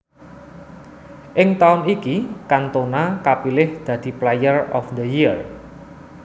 Ing taun iki Cantona kapilih dadi Player of the Year